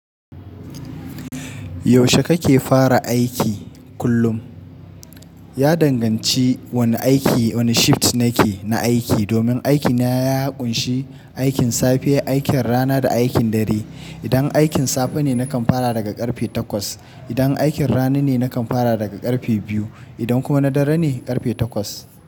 Yaushe kake fara aiki kullum? Ya danganci wane aiki, wane shift nake na aiki. Domin aikina ya kunshi aikin safe, aikin rana da aikin dare. Idan aikin safe ne, nakan fara daga karfe takwas. Idan aikin rana ne, nakan fara daga karfe biyu. Idan kuma na dare ne, karfe takwas.